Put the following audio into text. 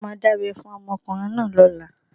A máa dábẹ́ fún ọmọkùnrin náà lọ́la.